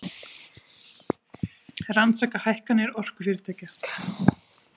Rannsaka hækkanir orkufyrirtækja